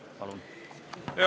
Palun!